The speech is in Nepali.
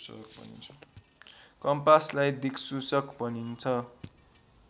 कम्पासलाई दिक्सूचक भनिन्छ